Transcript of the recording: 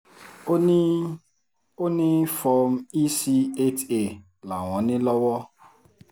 ó ní ó ní form ec eight a làwọn ní lọ́wọ́